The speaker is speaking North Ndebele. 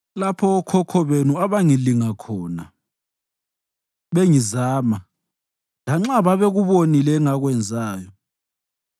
lapho okhokho benu abangilinga khona bengizama, lanxa babekubonile engakwenzayo.